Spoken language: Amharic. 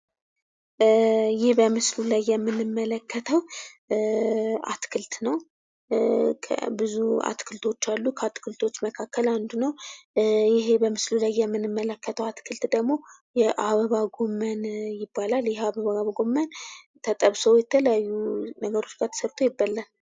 ይህ በምስሉ ላይ የምንምለክተው አትክልት ነው። ብዙ አትክልቶች አሉ ከአትክቶች መካከል አንዱ ነው። ይህ በምስሉ ላይ የምንመለክተው አትክልት ደግሞ የአበባ ጎመን ይባላል። ይህ የአበባ ጎመን ተጠብሶ ከተለያዩ ነገሮች ጋር ተድርጎ ይበላል።